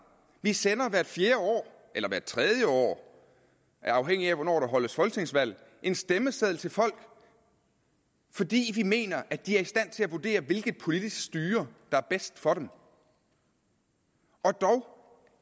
vi sender hvert fjerde år eller hvert tredje år afhængigt af hvornår der afholdes folketingsvalg en stemmeseddel til folk fordi vi mener at de er i stand til at vurdere hvilket politisk styre der er bedst for dem og dog